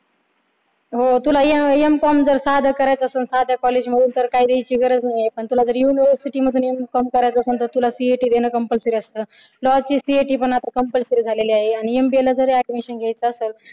हो तुला M com जर साधं करायचं असल तर साध्या कॉलेजमधून तर काही द्यायची गरज नाही पण तुला जर university मधून M com करायचं असल CET देणं compulsory असत law ची CET पण आता compulsory झालेली आहे. आणि MBA ला जरी admission घ्यायचं असल